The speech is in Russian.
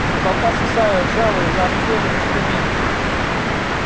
с потолка свисают ржавые заострённые инструменты